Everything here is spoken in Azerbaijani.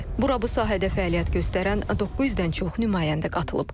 Bura bu sahədə fəaliyyət göstərən 900-dən çox nümayəndə qatılıb.